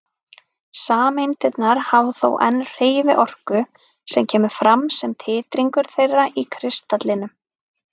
Sameindirnar hafa þó enn hreyfiorku sem kemur fram sem titringur þeirra í kristallinum.